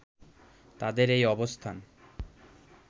তাদের এই অবস্থান